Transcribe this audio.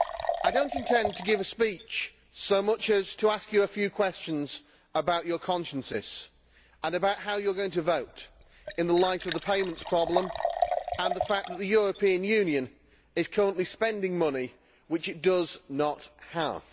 I do not intend to give a speech so much as to ask Members a few questions about their consciences and about how they are going to vote, in the light of the payments problem, and the fact that the European Union is currently spending money which it does not have.